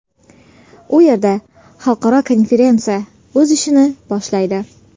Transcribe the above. U yerda xalqaro konferensiya o‘z ishini boshlaydi.